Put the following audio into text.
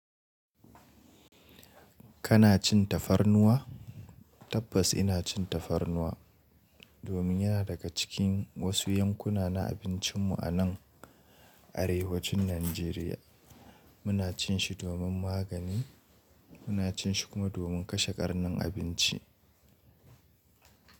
Kana cin tafarnuwa? Tabbas ina cin tafarnuwa, domin yana daga cikin wasu yankuna na abincinmu a nan, arewacin Najeriya. Muna cin shi domin magani, muna cin shi kuma domin kashe ƙarnin abinci.